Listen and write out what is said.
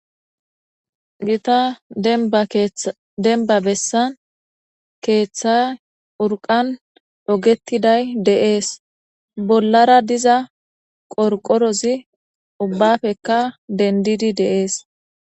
gita dademba bessan keeththa urqan dhogettiday deees bollara diza qorqorozi ubbafekka dendidi deees